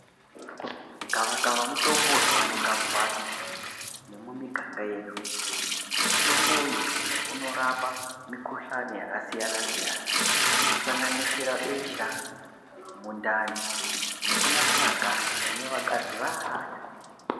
Gavakava mutombo unowanikwa mumbatso nemumiganga yedu mutombo uyu unorapa mikuhlani yakasiyana siyana inosanganisira besha mundani nekunasira ganda kune vakadzi vaya.